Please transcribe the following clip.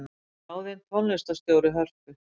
Ráðin tónlistarstjóri Hörpu